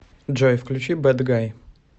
джой включи бэд гай